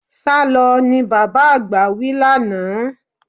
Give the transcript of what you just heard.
Sálọ! ni bàbá àgbà wí lánàá.